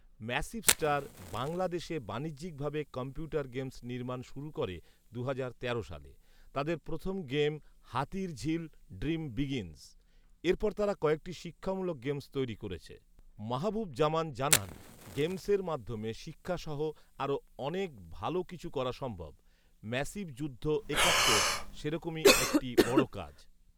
‘massive Star' বাংলাদেশে বাণিজ্যিকভাবে computer games নির্মাণ শুরু করে দুহাজার তেরো সালে৷ তাদের প্রথম গেম ‘হাতিরঝিল ড্রিম বিগিন্স৷' এরপর তারা কয়েকটি শিক্ষামূলক গেমস তৈরি করেছে৷ মাহবুব জামান জানান, গেমসের মাধ্যমে শিক্ষাসহ আরো অনেক ভালো কিছু করা সম্ভব৷ ‘ম্যাসিভ যুদ্ধ একাত্তর সেরকমই একটি বড় কাজ৷